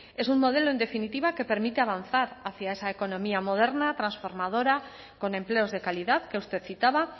es un modelo en definitiva que permite avanzar hacia esa economía moderna transformadora con empleos de calidad que usted citaba